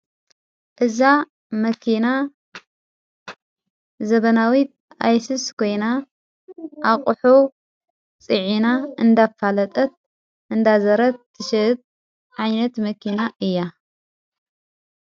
እዛ መኪና ዘበናዊ ኣይሱዝ ኾይና ኣቝሑ ፀዒና እንዳ ፋለጠት እንዳዘረት ትሽይት ዓይነት መኪና እያ።